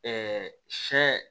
sɛ